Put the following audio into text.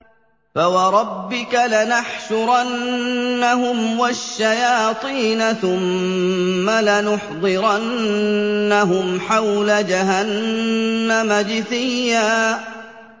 فَوَرَبِّكَ لَنَحْشُرَنَّهُمْ وَالشَّيَاطِينَ ثُمَّ لَنُحْضِرَنَّهُمْ حَوْلَ جَهَنَّمَ جِثِيًّا